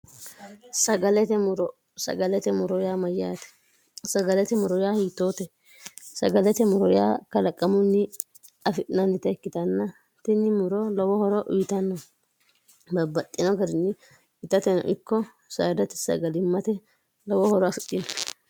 sagalete muro sagalete moroyaa mayyaate sagalete moroya hiitoote sagalete moroyaa kalaqamunni afi'nannite ikkitanna tinni muro lowohoro uyitanno babbaxxino garinni itateno ikko saidati sagalimmate lowo horo aficino